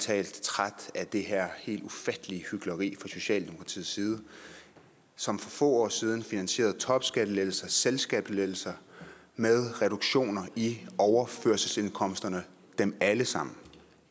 talt træt af det her helt ufattelige hykleri fra socialdemokratiets side som for få år siden finansierede topskattelettelser og selskabsskattelettelser med reduktioner i overførselsindkomsterne dem alle sammen